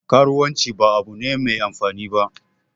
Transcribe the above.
Karuwanci ba abu ne Mai amfani ba